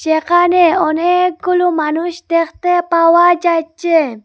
যেখানে অনেকগুলু মানুষ দেখতে পাওয়া যাচ্চে।